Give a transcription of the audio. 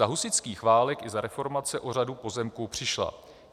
Za husitských válek i za reformace o řadu pozemků přišla.